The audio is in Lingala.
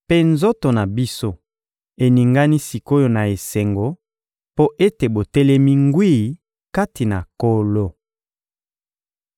mpe nzoto na biso eningani sik’oyo na esengo mpo ete botelemi ngwi kati na Nkolo.